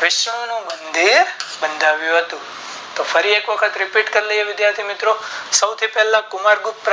વિષાણુ ના બંધુ બંધાવ્યા હતું તો ફરી એક વખત Repeat કરી લૈયે વિધાથી મિત્રો સૌથી પહેલા કુમાર ગુપ્ત